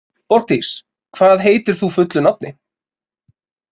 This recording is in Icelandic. Borgdís, hvað heitir þú fullu nafni?